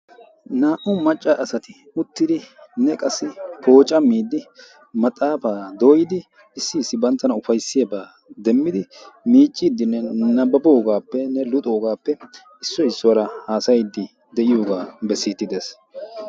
Naa''u macca asati uttidinne qassi pooccamide maxaaafa doyyidi issi issi bantta ufayssiyaaba demidi miiccidenne nababbogapenne luxogaappe issoy issuwara hassayide de'iyooga besside des.